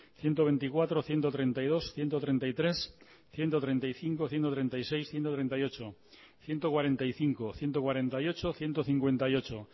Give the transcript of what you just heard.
ciento veinticuatro ciento treinta y dos ciento treinta y tres ciento treinta y cinco ciento treinta y seis ciento treinta y ocho ciento cuarenta y cinco ciento cuarenta y ocho ciento cincuenta y ocho